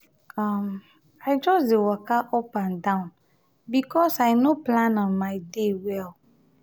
um i just dey waka up and down because i no plan um my day well.